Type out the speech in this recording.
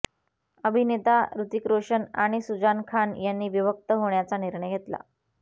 अभिनेता ऋतिक रोशन आणि सुजान खान यांनी विभक्त होण्याचा निर्णय घेतला